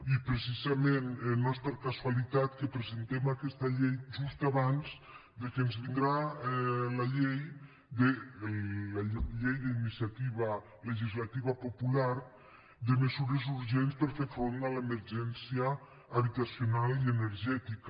i precisament no és per casualitat que presentem aquesta llei just abans que ens vingui la llei d’iniciativa legislativa popular de mesures urgents per fer front a l’emergència habitacional i energètica